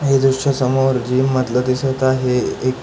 हे दृश्य समोर जीम मधल दिसत आहे एक--